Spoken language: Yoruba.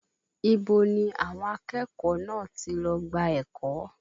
Ibo ni àwọn akẹ́kọ̀ọ́ náà ti lọ gba ẹ̀kọ́?